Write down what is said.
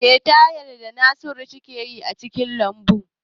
Me Tahir da Naziru suke yi a cikin lambu?